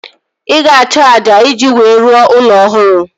Ị ga-achọ ájá iji wee rụọ ụlọ ọhụrụ